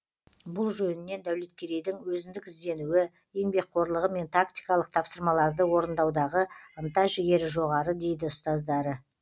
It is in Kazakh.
бұл жөнінен дәулеткерейдің өзіндік ізденуі еңбекқорлығы мен тактикалық тапсырмаларды орындаудағы ынта жігері жоғары дейді ұстаздары